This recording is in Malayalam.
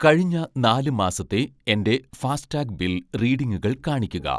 കഴിഞ്ഞ നാല് മാസത്തെ എൻ്റെ ഫാസ്ടാഗ് ബിൽ റീഡിംഗുകൾ കാണിക്കുക.